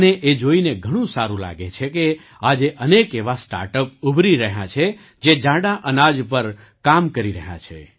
મને એ જોઈને ઘણું સારું લાગે છે કે આજે અનેક એવાં સ્ટાર્ટ અપ ઉભરી રહ્યાં છે જે જાડાં અનાજ પર કામ કરી રહ્યાં છે